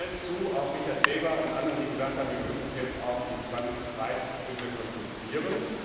Ich stimme aber allen zu auch Richard Seeber und anderen die gesagt haben, wir müssen uns jetzt auf die 2030 Ziele konzentrieren.